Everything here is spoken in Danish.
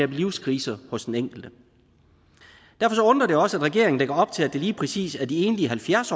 en livskrise hos den enkelte derfor undrer det også at regeringen lægger op til at det lige præcis er de enlige halvfjerds